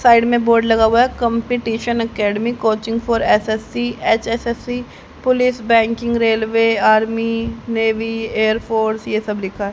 Side में board लगा हुआ है। Competition academy coaching for SSC HSSC police banking railway army navy air force यह सब लिखा है।